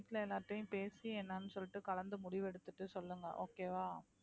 வீட்டுல எல்லார்கிட்டயும் பேசி என்னன்னு சொல்லிட்டு கலந்து முடிவெடுத்துட்டு சொல்லுங்க okay வா